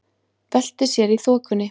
Veltir sér í þokunni.